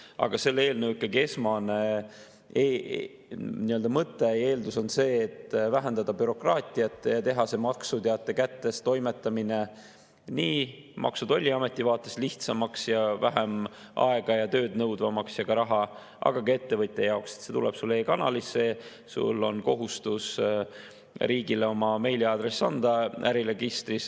Aga selle eelnõu esmane mõte ja eeldus on see, et vähendada bürokraatiat ja teha maksuteate kättetoimetamine nii Maksu‑ ja Tolliameti vaates lihtsamaks ja vähem aega, tööd ja raha nõudvamaks kui ka ettevõtja jaoks, et see tuleb sulle e‑kanalisse, sul on kohustus riigile oma meiliaadress anda äriregistris.